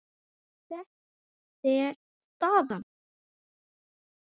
En þessi er staðan.